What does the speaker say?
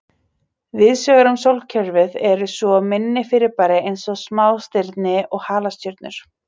Víðsvegar um sólkerfið eru svo minni fyrirbæri eins og smástirni og halastjörnur.